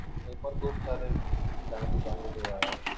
हे पण खूप सारा